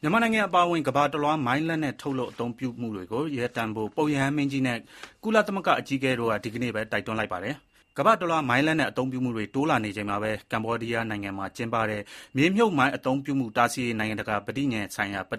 မြန်မာနိုင်ငံအပါအဝင် ကမ္ဘာတလွှား မိုင်းလက်နက် ထုတ်လုပ်အသုံးပြုမှုတွေရပ်တန့်ဖို့ ပုပ်ရဟန်း မင်းကြီးနဲ့ ကုလသမဂ္ဂအကြီးအကဲတို့က ဒီကနေ့ပဲ တိုက်တွန်းလိုက်ကြပါတယ်။ ကမ္ဘာတလွှား မိုင်းလက်နက်အသုံးပြုမှုတွေ တိုးလာနေချိန်မှာပဲ ကမ္ဘောဒီးယားနိုင်ငံမှာကျင်းပတဲ့ မြေမြှုပ်မိုင်း အသုံးပြုမှုတားဆီးရေး နိုင်ငံတကာပဋိဉာဉ်ဆိုင်ရာ ပ